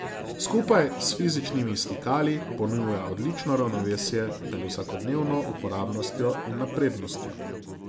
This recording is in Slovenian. Skupaj s fizičnimi stikali ponuja odlično ravnovesje med vsakodnevno uporabnostjo in naprednostjo.